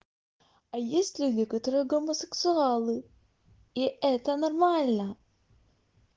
а есть люди которые гомосексуалы и это нормально